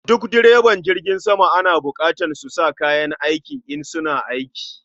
Duk direban jirgin sama ana bukatan su sa kayan aiki, in suna aiki